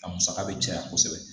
A musaka bɛ caya kosɛbɛ